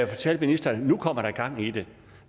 fortalte ministeren at nu kom der gang i det